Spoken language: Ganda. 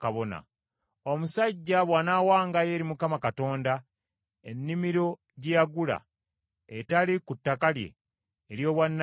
“Omusajja bw’anaawangayo eri Mukama Katonda ennimiro gye yagula, etali ku ttaka lye ery’obwannannyini,